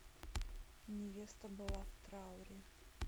невеста была в трауре